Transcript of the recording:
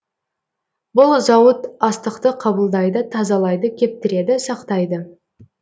бұл зауыт астықты қабылдайды тазалайды кептіреді сақтайды